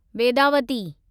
Vedavati